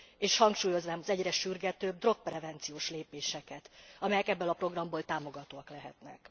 És hangsúlyoznám az egyre sürgetőbb drogprevenciós lépéseket, amelyek ebből a programból támogathatóak lesznek.